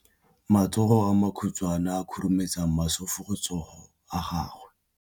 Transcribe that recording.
Matsogo a makhutshwane a khurumetsa masufutsogo a gago.